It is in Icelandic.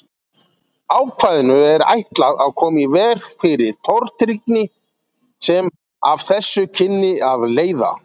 Ákvæðinu er ætlað að koma í veg fyrir tortryggni sem af þessu kynni að leiða.